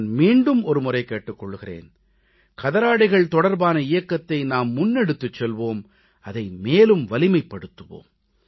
நான் மீண்டும் ஒருமுறை கேட்டுக் கொள்கிறேன் கதராடைகள் தொடர்பான இயக்கத்தை நாம் முன்னெடுத்துச் செல்வோம் அதை மேலும் வலிமைப்படுத்துவோம்